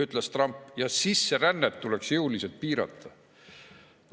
ütles Trump, ja sisserännet tuleks jõuliselt piirata.